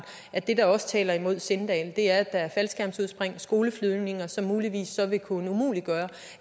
at det der også taler imod sindal er at der er faldskærmsudspring og skoleflyvninger som muligvis vil kunne umuliggøre